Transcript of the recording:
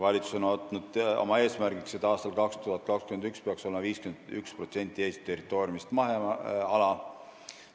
Valitsus on võtnud oma eesmärgiks, et aastal 2021 peaks olema 51% Eesti territooriumist maheala.